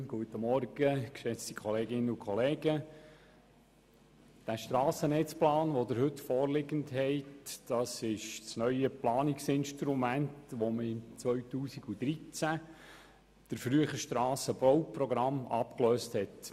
Der Ihnen heute vorliegende Strassennetzplan ist das neue Planungsinstrument, das im Jahr 2013 das frühere Strassenbauprogramm abgelöst hat.